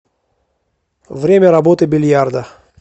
время работы бильярда